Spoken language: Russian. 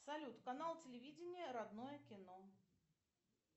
салют канал телевидения родное кино